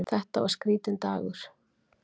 Þetta var skrítinn dagur.